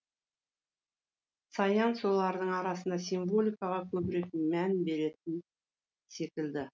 саян солардын арасында символикаға көбірек мән беретін секілді